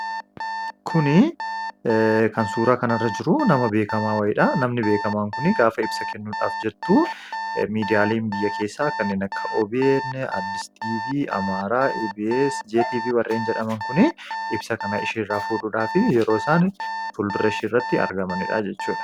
Suuraan asirratti argaa jirru kun shamarree miidhagduu uffata aadaatiin faayamtee utuu isheen miidiyaalee garaa garaaf haasawaa gochaa jirtu argina.